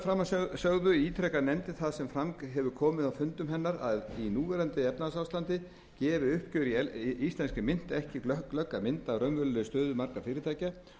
framansögðu ítrekar nefndin það sem fram hefur komið á fundum hennar að í núverandi efnahagsástandi gefi uppgjör í íslenskri mynt ekki glögga mynd af raunverulegri stöðu margra fyrirtækja